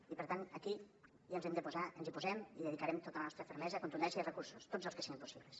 i per tant aquí ens hi hem de posar ens hi posem hi dedicarem tota la nostra fermesa contundència i recursos tots els que siguin possibles